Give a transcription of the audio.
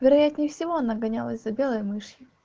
вероятнее всего она гонялась за белой мышью